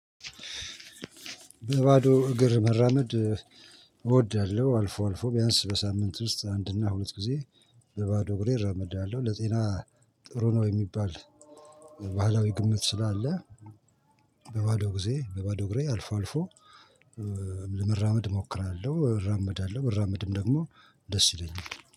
በባዶ እግር መራመድ እወዳለሁ አልፎ አልፎ ቢያንስ በሳምንት ውስጥ አንድና ሁለት ጊዜ። በባዶ እግሬ እራመዳለሁ ለጤና ጥሩ ነው። የሚባል ባህላዊ ግምት ስላለ። በባዶ ግዜ በባዶ እግሬ አልፎ አልፎ። ለመራመድ አሞክራለሁ አራመዳለሁ ብራመድም ደግሞ ደስ ይለኛል